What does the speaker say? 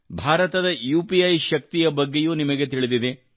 ಭಾರತದ ಯುಪಿಇ ಯ ಶಕ್ತಿಯ ಬಗ್ಗೆಯೂ ನಿಮಗೆ ತಿಳಿದಿದೆ